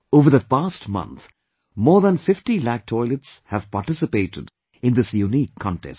Over the past month, more than 50 lakh toilets have participated in this unique contest